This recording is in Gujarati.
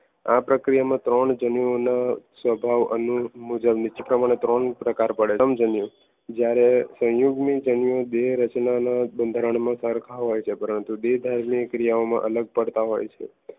આ પ્રક્રિયામાં ત્રણ જનનીઓના સ્વભાવ અનુરૂપ મુજબ નીચે પ્રમાણે ત્રણ પ્રકાર પડે છે. જ્યારે સંયુગમાં જીવ્યો બે રચનાના બંધારણમાં આ હોય છે પરંતુ દેહધાર્મિક ક્રિયાઓમાં અલગ પડતા હોય છે